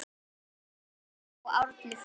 Lena og Árni Freyr.